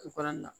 U fana na